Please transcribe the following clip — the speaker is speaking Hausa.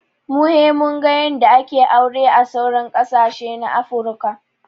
Mun he mun ga yanda ake aure a sauran ƙasashe na afruka